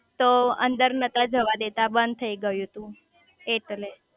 તો અંદર નતા જવા દેતા બંધ થઇ ગયું તું એટલે